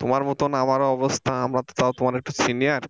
তোমার মতন আমার অবস্থা আমার তো তাও তোমার এক্টু সিনিয়ার